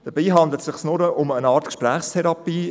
Dabei handelt es sich nur um eine Art Gesprächstherapie.